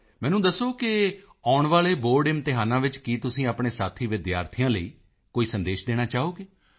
ਮੈਨੂੰ ਦੱਸੋ ਕਿ ਆਉਣ ਵਾਲੇ ਬੋਰਡ ਇਮਤਿਹਾਨਾਂ ਵਿੱਚ ਕੀ ਤੁਸੀਂ ਆਪਣੇ ਸਾਥੀ ਵਿਦਿਆਰਥੀਆਂ ਲਈ ਕੋਈ ਸੰਦੇਸ਼ ਦੇਣਾ ਚਾਹੋਗੇ